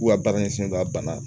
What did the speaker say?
K'u ka baara ɲɛsinnen don a bana